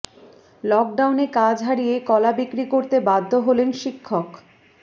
লকডাউনে কাজ হারিয়ে কলা বিক্রি করতে বাধ্য হলেন শিক্ষক